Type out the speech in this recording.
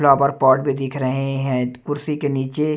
flower pot भी दिख रहें हैं कुर्सी के नीचे--